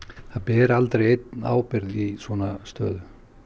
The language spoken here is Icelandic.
það ber aldrei einn ábyrgð í svona stöðu